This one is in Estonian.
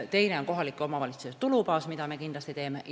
Teine on kohalike omavalitsuste tulubaas, millega me kindlasti tegeleme.